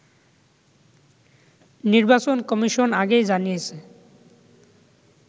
নির্বাচন কমিশন আগেই জানিয়েছে